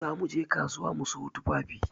Za mu je kasuwa mu sayo tufafi.